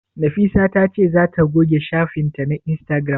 Nafisa ta ce za ta goge shafin ta na Instagram?